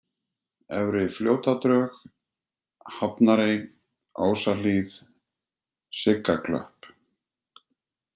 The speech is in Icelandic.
Efri-Fljótadrög, Hafnarey, Ásahlíð, Siggaklöpp